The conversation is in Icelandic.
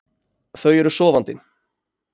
Þau eru sofandi.